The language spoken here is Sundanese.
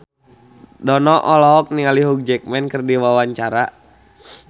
Dono olohok ningali Hugh Jackman keur diwawancara